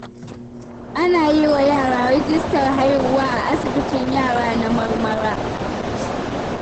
Ana yi wa yara rijistar haihuwa a asibitin yara na Marmara.